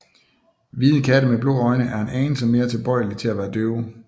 Hvide katte med blå øjne er en anelse mere tilbøjelige til at være døve